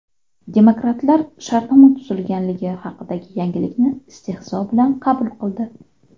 Demokratlar shartnoma tuzilganligi haqidagi yangilikni istehzo bilan qabul qildi.